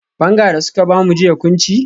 Banga da suka bamu jiya kun ci?